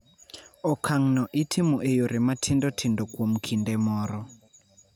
Okang�no itimo e yore matindo tindo kuom kinde moro.